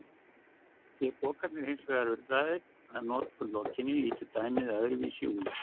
Séu pokarnir hins vegar urðaðir að notkun lokinni lítur dæmið öðruvísi út.